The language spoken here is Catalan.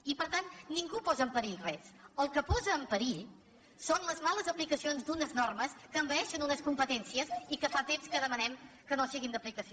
i per tant ningú posa en perill res el que posa en perill són les males aplicacions d’unes normes que envaeixen unes competències i que fa temps que demanem que no siguin d’aplicació